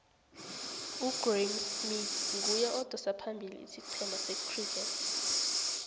ugraeme smith nguye odosa phambili isicema secriket